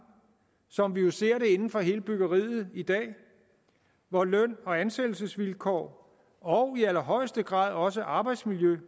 som jo vi ser det inden for hele byggeriet i dag hvor løn og ansættelsesvilkårene og i allerhøjeste grad også arbejdsmiljøet i